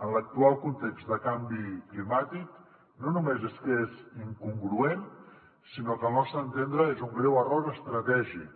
en l’actual context de canvi climàtic no només és que és incongruent sinó que al nostre entendre és un greu error estratègic